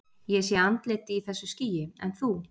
Ég sé andlit í þessu skýi, en þú?